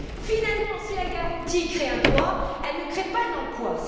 Finalement, si la garantie crée un droit, elle ne crée pas d'emplois.